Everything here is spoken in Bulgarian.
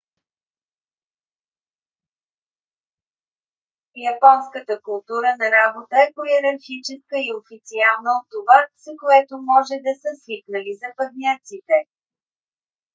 японската култура на работа е по-йерархическа и официална от това с което може да са свикнали западняците